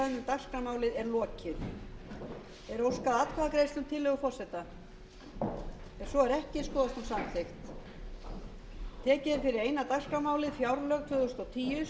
þar til umræðu um dagskrármálið er lokið er óskað atkvæðagreiðslu um tillögu forseta ef svo er ekki skoðast hún samþykkt